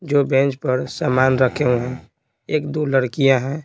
जो बेंच पर सामान रखे हुए हैं एक दो लड़कियां हैं।